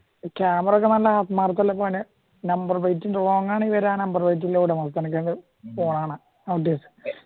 camera number പ്ലെയിറ്റിൽ wrong ആണ് പോണ കാണാ